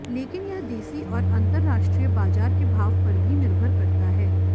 लेकिन यह देसी और अंतरराष्ट्रीय बाजार के भाव पर भी निर्भर करता है